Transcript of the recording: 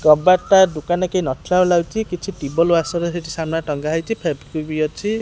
କବାଟ ଟା ଦୋକାନ ରେ କେହି ନଥିଲା ଭଳି ଲାଗୁଚି କିଛି ଟି ବଲ୍ ୱାସର ସେଠି ସାମ୍ନା ରେ ଲଗା ହେଇଚି ଫେଭିୱିକ୍ ବି ଅଛି।